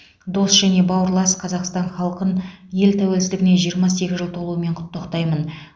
дос және бауырлас қазақстан халқын ел тәуелсіздігіне жиырма сегіз жыл толуымен құттықтаймын